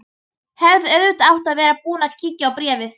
Hefði auðvitað átt að vera búin að kíkja á bréfið.